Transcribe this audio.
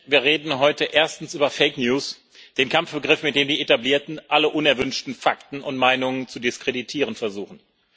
Herr Präsident! Wir reden heute erstens über Fake News, den Kampfbegriff, mit dem die Etablierten alle unerwünschten Fakten und Meinungen zu diskreditieren versuchen.